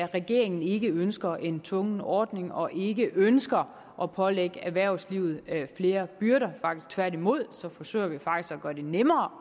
regeringen ikke ønsker en tvungen ordning og ikke ønsker at pålægge erhvervslivet flere byrder tværtimod forsøger vi faktisk at gøre det nemmere